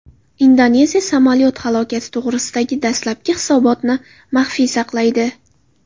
Indoneziya samolyot halokati to‘g‘risidagi dastlabki hisobotni maxfiy saqlaydi.